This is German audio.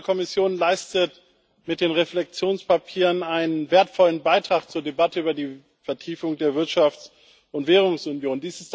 Die Europäische Kommission leistet mit den Reflektionspapieren einen wertvollen Beitrag zur Debatte über die Vertiefung der Wirtschafts und Währungsunion.